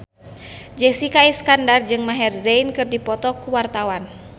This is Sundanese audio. Jessica Iskandar jeung Maher Zein keur dipoto ku wartawan